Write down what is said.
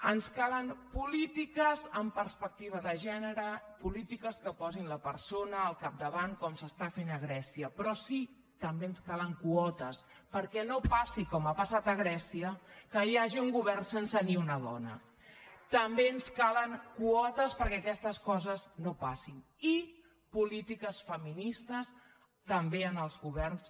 ens calen polítiques amb perspectiva de gènere polítiques que posin la persona al capdavant com s’està fent a grècia però sí també ens calen quotes perquè no passi com ha passat a grècia que hi hagi un govern sense ni una dona també ens calen quotes perquè aquestes coses no passin i polítiques feministes també en els governs